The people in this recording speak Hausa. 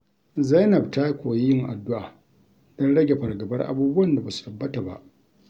Zainab ta koyi yin addu’a don rage fargabar abubuwan da ba su tabbata ba.